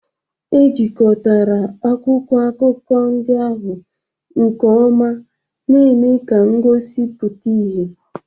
Ejikotara akwụkwọ akụkọ ndị ahụ nke ọma, na-eme ka ngosi pụta ìhè.